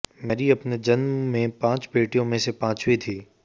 Mary अपने जन्म में पांच बेटियों में से पांचवीं थीं